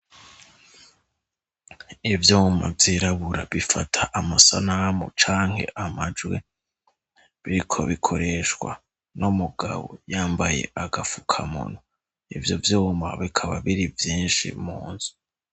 Ivyuma vyirabura bifata amasanamu canke amajwi biriko bikoreshwa n'umugabo yambaye agapfukamunwa ,ivyo vyuma bikaba biri vyinshi mu nzu.